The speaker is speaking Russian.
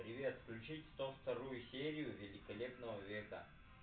привет включить сто вторую серию великолепного века